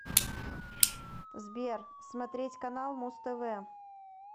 сбер смотреть канал муз тв